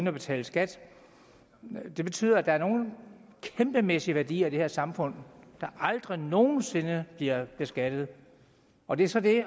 at betale skat det betyder at der er nogle kæmpemæssige værdier i det her samfund der aldrig nogen sinde bliver beskattet og det er så det